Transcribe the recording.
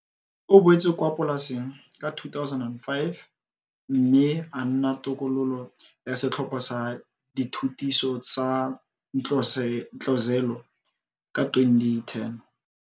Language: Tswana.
O boetse kwa polaseng ka 2005 mme a nna tokololo ya Setlhopha sa Dithutiso sa Ntlozelo ka 2010.